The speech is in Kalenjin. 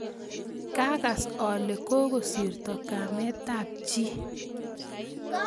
Kakas ale kokosirto kametab Gi